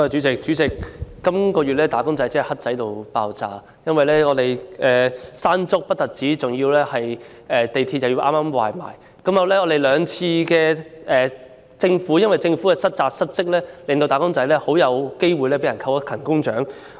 主席，"打工仔"在本月真的很倒霉，先後經歷了颱風"山竹"襲港及港鐵嚴重故障，而在兩次事件中，均由於政府失職，致使他們很可能被扣勤工獎。